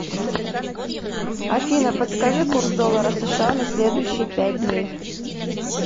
афина подскажи курс доллара сша на следующие пять дней